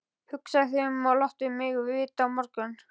Hugsaðu þig um og láttu mig vita á morgun.